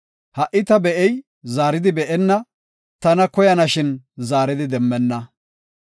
Ha77i be7ey zaaridi be7enna; tana koyana shin zaari demmenna.